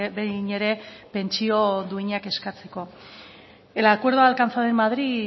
behin ere pentsio duinak eskatzeko el acuerdo alcanzado en madrid